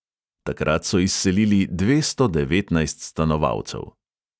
Takrat so izselili dvesto devetnajst stanovalcev.